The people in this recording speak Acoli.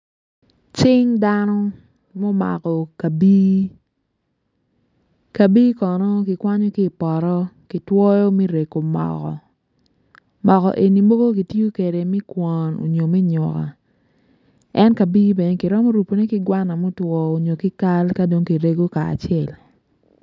Cing dano mumako kabii, kabii kono ki kwanyo ki ipoto me rengo moko, moko eni mogo gitiyo kwede me kwon mogo me nyuka en kabii bene ki romo rupune ki gwana mutwo onyo ki kal ka dong ki rego ka acel